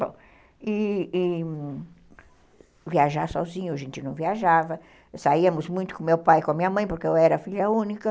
Bom, e e, viajar sozinha, a gente não viajava, saíamos muito com meu pai e com a minha mãe, porque eu era filha única,